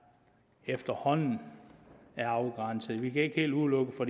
efterhånden er afgrænset vi kan ikke helt udelukke det for